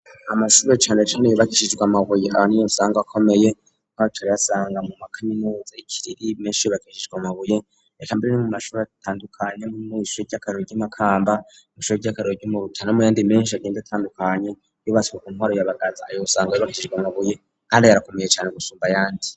amashure cane cane yubakishijwe amabuye ahanini usanga akomeye uzoyasanga mu makaminuza ikiriri menshi yubakishijwe amabuye reka mbere no mu mashuri atandukanye mu mashuri y'akarorero nk’imakamba mw’ishure ry'akarorero no muyandi menshi agenda atandukanye yubatswe ku ntwaro ya Bagaza Aho usanga yubakishijwe amabuye Kandi akomeye cane gusumba ayandi.